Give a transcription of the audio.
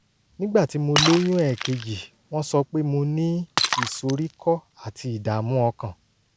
nígbà tí mo lóyún ẹ̀ẹ̀kejì wọ́n sọ pé mo ní ìsoríkọ́ àti ìdààmú ọkàn